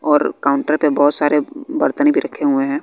और काउंटर पे बहोत सारे बर्तन भी रखे हुए हैं।